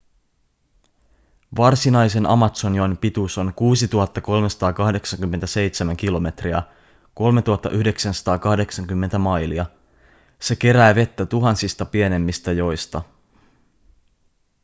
varsinaisen amazonjoen pituus on 6 387 km 3 980 mailia. se kerää vettä tuhansista pienemmistä joista